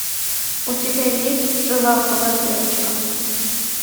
у тебя есть жила была девочка